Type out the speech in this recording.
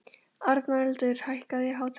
Arnaldur, hækkaðu í hátalaranum.